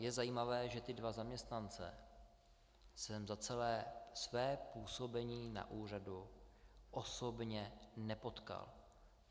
Je zajímavé, že ty dva zaměstnance jsem za celé své působení na úřadu osobně nepotkal.